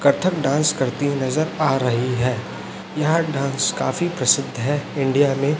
Kathak dance करती नजर आ रही है यहां डांस काफी प्रसिद्ध है इंडिया में--